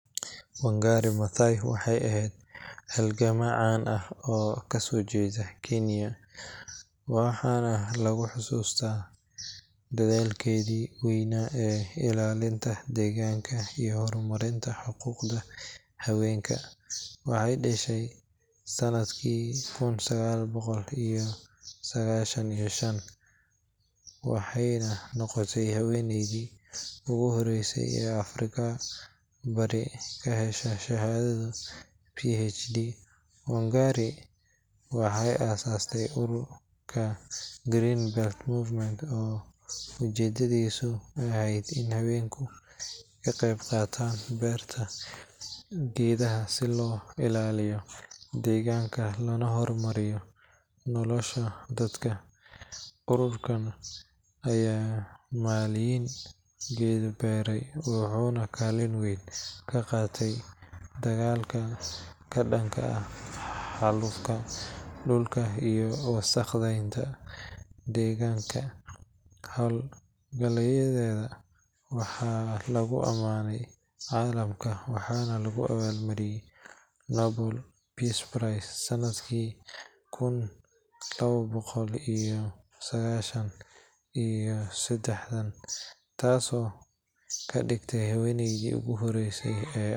Wangari Maathai waxay ahayd halgamaa caan ah oo ka soo jeeda Kiiniya, waxaana lagu xusuustaa dadaalkeedii weynaa ee ilaalinta deegaanka iyo horumarinta xuquuqda haweenka. Waxay dhashay sanadkii kun sagaal boqol iyo sagaashan iyo shan, waxayna noqotay haweeneydii ugu horeysay ee Afrika bari ka hesha shahaadada PhD. Wangari waxay aasaastay ururka Green Belt Movement oo ujeedadiisu ahayd in haweenku ka qayb qaataan beerta geedaha si loo ilaaliyo deegaanka loona horumariyo nolosha dadka. Ururkan ayaa malaayiin geedo beeray, wuxuuna kaalin weyn ka qaatay dagaalka ka dhanka ah xaalufka dhulka iyo wasakheynta deegaanka. Hawlgalladeeda waxaa lagu amaanay caalamka, waxaana lagu abaalmariyay Nobel Peace Prize sanadkii kun laba boqol iyo sagaashan iyo siddeetan, taasoo ka dhigtay haweeneydii ugu horreysay.